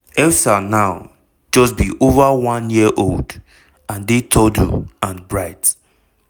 elsa now just be over one year old and dey toddle and bright.